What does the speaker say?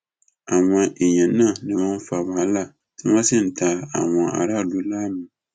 àwọn èèyàn náà ni wọn fa wàhálà tí wọn sì ń da àwọn aráàlú láàmú